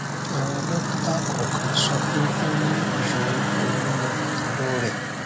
àwọn dọkítà kòòkan sọ pé ó ní ìsòro pẹlú ẹdọ rẹ